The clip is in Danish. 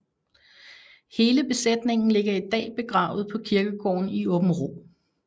Hele besætningen ligger i dag begravet på kirkegården i Åbenrå